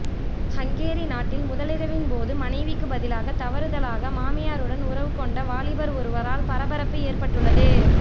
Hungary நாட்டில் முதலிரவின்போது மனைவிக்கு பதிலாக தவறுதலாக மாமியாருடன் உறவு கொண்ட வாலிபர் ஒருவரால் பரபரப்பு ஏற்பட்டுள்ளது